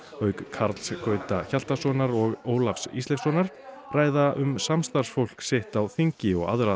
auk Karls Gauta Hjaltasonar og Ólafs Ísleifssonar ræða um samstarfsfólk sitt á þingi og aðra